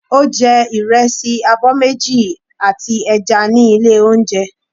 Ó jẹ ìrẹsì abọ́ méjì àti ẹja ní ilé oúnjẹ.